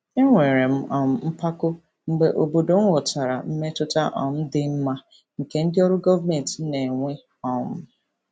Enwere m um mpako mgbe obodo m ghọtara mmetụta um dị mma nke ndị ọrụ gọọmentị na-enwe. um